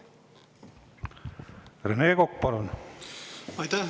Rene Kokk, palun!